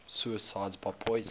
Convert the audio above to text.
suicides by poison